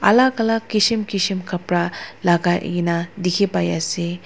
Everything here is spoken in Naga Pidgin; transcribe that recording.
alak alak kishim kishim kapra lakai na dikhi pai ase.